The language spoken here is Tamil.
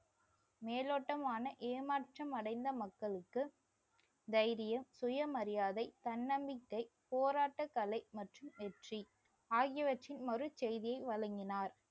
மேலோட்டமான ஏமாற்றம் அடைந்த மக்களுக்கு தைரியம், சுயமரியாதை, தன்னம்பிக்கை, போராட்டக்கலை மற்றும் வெற்றி ஆகியவற்றின் மறு செய்தியை வழங்கினார்